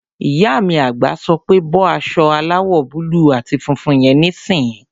Ìyá mi àgbà sọ pé "bọ́ aṣọ aláwọ̀ búúlù àti funfun yẹn níìsín!"